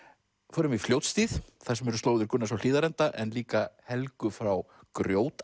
förum í Fljótshlíð þar sem eru slóðir Gunnars á Hlíðarenda en líka Helgu frá